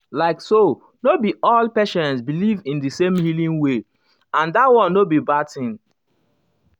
like so no be all um patients believe in um the same healing way um and that one no be bad thing.